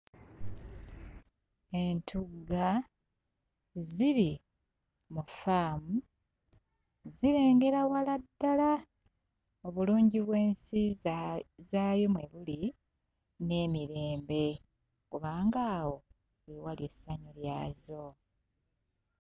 Entugga ziri mu ffaamu zirengera wala ddala obulungi bw'ensi zaayo mwe buli n'emirembe kubanga awo we wali essanyu lyazo.